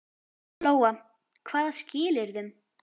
Lóa: Hvaða skilyrðum?